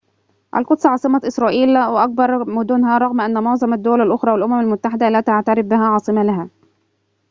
القدس عاصمة إسرائيل وأكبر مدنها رغم أن معظم الدول الأخرى والأمم المتحدة لا تعترف بها عاصمة لها